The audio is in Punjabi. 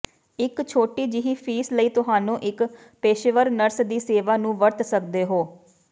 ਇੱਕ ਛੋਟੀ ਜਿਹੀ ਫੀਸ ਲਈ ਤੁਹਾਨੂੰ ਇੱਕ ਪੇਸ਼ੇਵਰ ਨਰਸ ਦੀ ਸੇਵਾ ਨੂੰ ਵਰਤ ਸਕਦੇ ਹੋ